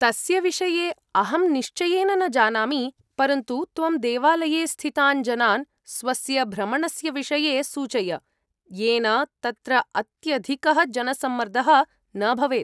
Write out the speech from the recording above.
तस्य विषये अहं निश्चयेन न जानामि, परन्तु त्वं देवालये स्थितान् जनान् स्वस्य भ्रमणस्य विषये सूचय, येन तत्र अत्यधिकः जनसम्मर्दः न भवेत्।